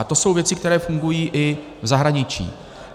A to jsou věci, které fungují i v zahraničí.